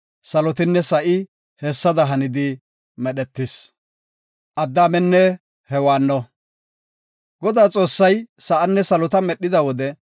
Salotinne sa7i hessada hani medhetis. Addaamenne Hewaanno Godaa Xoossay sa7anne salota medhida wode,